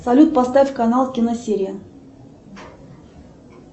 салют поставь канал киносерия